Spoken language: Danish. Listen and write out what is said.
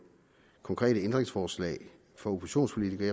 konkrete ændringsforslag for oppositionspolitikere